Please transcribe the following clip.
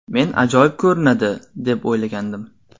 Men ajoyib ko‘rinadi, deb o‘ylagandim”.